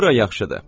Bura yaxşıdır.